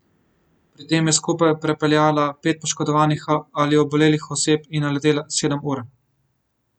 Pri tem je skupaj prepeljala pet poškodovanih ali obolelih oseb in naletela sedem ur.